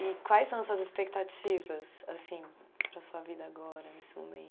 E quais são as suas expectativas, assim, para a sua vida agora, nesse